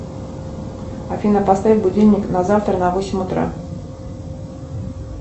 афина поставь будильник на завтра на восемь утра